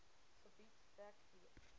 gebied dek d